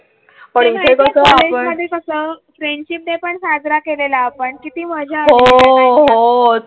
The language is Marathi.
फ्रेंडशिपडे पण साजरा केलेल्या आपण कीती